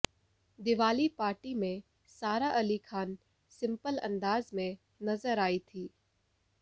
Diwali party में Sara Ali Khan simple अंदाज में नजर आई थी